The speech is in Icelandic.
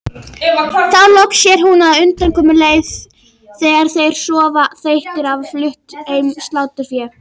Þá loks sér hún undankomuleið þegar þeir sofa þreyttir eftir að hafa flutt heim sláturfé.